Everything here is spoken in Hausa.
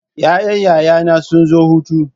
Ƴaƴan yaya na sun zo hutu.